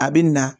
A bɛ na